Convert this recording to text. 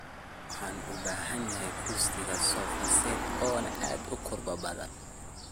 Waxan ubahanhy kusrsiga sofa set oona aad ukurbadan.